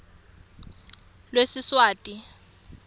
lwesiswati